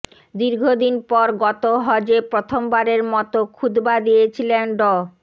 দীর্ঘদিন পর গত হজে প্রথমবারের মতো খুতবা দিয়েছিলেন ড